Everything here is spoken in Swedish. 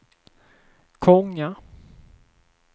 Konga